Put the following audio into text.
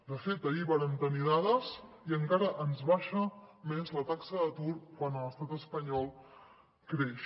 de fet ahir vàrem tenir dades i encara ens baixa més la taxa d’atur quan a l’estat espanyol creix